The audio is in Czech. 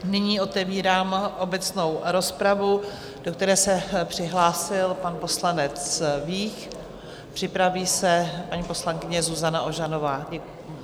Nyní otevírám obecnou rozpravu, do které se přihlásil pan poslanec Vích, připraví se paní poslankyně Zuzana Ožanová.